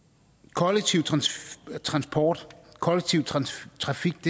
kollektiv transport kollektiv trafik